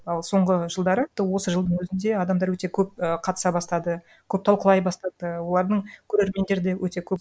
ал соңғы жылдары осы жылдың өзінде адамдар өте көп і қатыса бастады көп талқылай бастады олардың көрермендері де өте көп